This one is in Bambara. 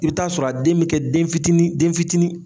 I bi t'a sɔrɔ a den bi kɛ den fitinin den fitinin.